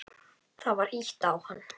Það var ýtt á hann.